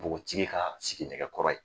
Npogotigi ka sigi nɛgɛkɔrɔ ye